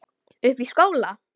Uppi í skóla?